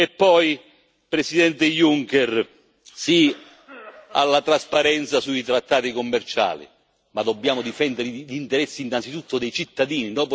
E poi, Presidente Juncker, sì alla trasparenza sui trattati commerciali, ma dobbiamo difendere gli interessi innanzitutto dei cittadini.